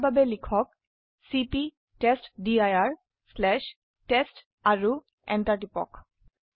তাৰ বাবে লিখক চিপি টেষ্টডিৰ টেষ্ট আৰু এন্টাৰ টিপক